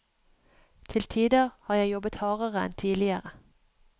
Til tider har jeg jobbet hardere enn tidligere.